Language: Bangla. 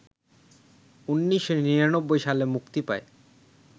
১৯৯৯ সালে মুক্তি পায়